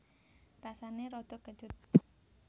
Rasané rada kecut